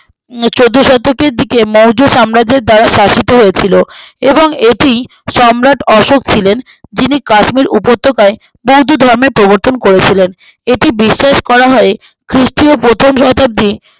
চোদ্দোশতকের দিকে মৌর্য সাম্রাজ্যের দ্বারা শাসিত হয়েছিল এবং এটি সম্রাট অশোক ছিলেন যিনি কাশ্মীর উপত্যকায়ে বৌদ্ধ ধর্মের প্রবর্তন করেছিলেন এটি বিশ্বাস করা হয় খ্রিস্টীয় প্রথম শতাব্দী